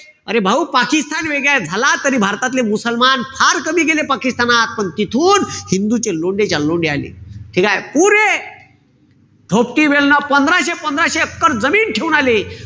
अरे भाऊ पाकिस्तान वेगळे झाला तरी भारतातले मुसलमान फार कमी गेले पाकिस्तानात. पण तिथून हिंदूंचे लोंढेच्या लोंढे आले. ठीकेय? पुरे पंधराशे-पंधराशे एकर जमीन ठेवून आले.